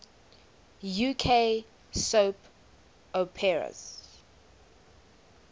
uk soap operas